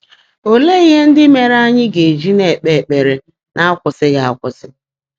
Óleé íhe ndị́ mèèré ányị́ gá-èjí ná-èkpé ékpèré n’ákwụ́sị́ghị́ ákwụ́sị́?